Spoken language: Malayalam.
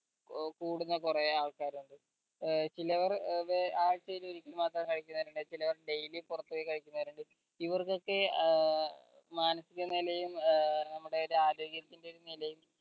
ഏർ കൂടുന്ന കൊറേ ആൾക്കാർ ഇണ്ട് ഏർ വിലവർ ഏർ വേ ആഴ്ചയിൽ ഒരിക്കെ മാത്രം കഴിക്കിന്നവരിണ്ട് ചിലവർ daily പൊറത്ത് പോയി കഴിക്കിന്നവരിണ്ട് ഇവർക്കൊക്കെ ഏർ മാനസിക നിലയും ഏർ നമ്മുടെ ആരോഗ്യത്തിന്റെ ഒരു നിലയും